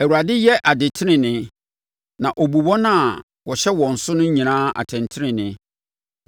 Awurade yɛ adetenenee na ɔbu wɔn a wɔhyɛ wɔn so nyinaa atɛntenenee.